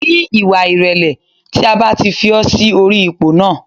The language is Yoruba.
Ní ìwà ìrẹ̀lẹ̀ tí a bá ti fi ọ́ sí orí ipò náà